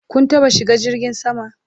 Kun taɓa shiga jirgin sama?